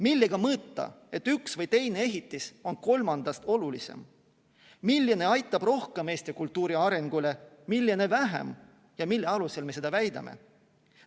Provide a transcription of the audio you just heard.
Millega mõõta, et üks või teine ehitis on kolmandast olulisem, milline aitab rohkem kaasa Eesti kultuuri arengule, milline vähem ja mille alusel me seda väidame?